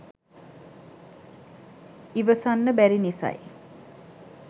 ඉවසන්න බැරි නිසයි